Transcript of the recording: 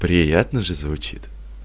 приятно же звучит